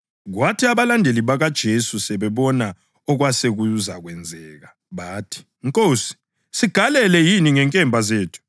Kwathi abalandeli bakaJesu sebebona okwasekuzakwenzeka bathi, “Nkosi, sigalele yini ngenkemba zethu?”